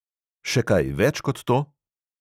Še kaj več kot to?